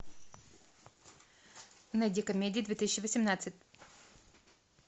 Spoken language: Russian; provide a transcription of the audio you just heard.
найди комедии две тысячи восемнадцать